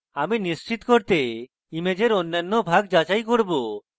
আমি নিশ্চিত করতে ইমেজের অন্যান্য ভাগ যাচাই করব